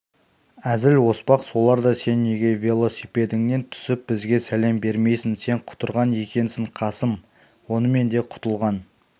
әзіл-оспақ соларда сен неге велосипедіңнен түсіп бізге сәлем бермейсің сен құтырған екенсің қасым онымен де құтылған